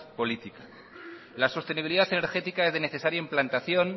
política la sostenibilidad energética es de necesaria implantación